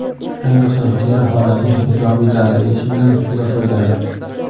Ayniqsa, teri holatiga ijobiy ta’sir etishi bilan juda foydali.